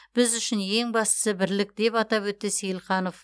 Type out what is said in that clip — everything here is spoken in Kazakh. біз үшін ең бастысы бірлік деп атап өтті сейілханов